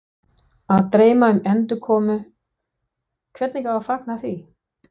Að dreyma um endurkomu, hvernig á að fagna því?